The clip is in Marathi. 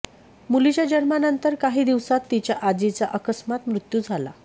मुलीच्या जन्मानंतर काही दिवसांत तिच्या आजीचा अकस्मात मृत्यू झाला